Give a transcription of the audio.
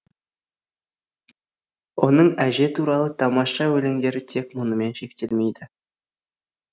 оның әже туралы тамаша өлеңдері тек мұнымен шектелмейді